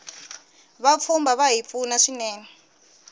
vapfhumba vahi pfuna swinene